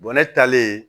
ne taalen